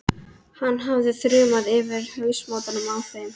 Hann hefði þrumað yfir hausamótunum á þeim.